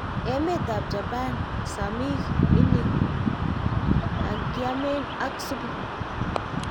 Emet ap japan, samiki ini ykiamen ak supu